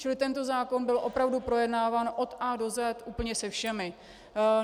Čili tento zákon byl opravdu projednáván o A do Z úplně se všemi.